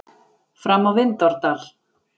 Fram á Vindárdal.